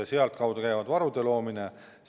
Selle kaudu käib varude loomine.